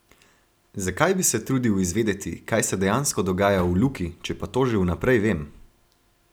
Zakaj bi se trudil izvedeti, kaj se dejansko dogaja v Luki, če pa to že vnaprej vem?